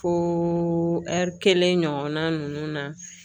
Fo ɛri kelen ɲɔgɔnna ninnu na